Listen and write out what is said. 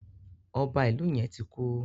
Ọba Ìlu yén ti kú.